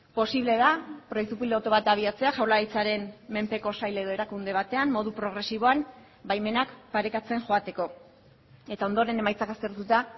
posible da proiektu pilotu bat abiatzea jaurlaritzaren menpeko sail edo erakunde batean modu progresiboan baimenak parekatzen joateko eta ondoren emaitzak aztertuta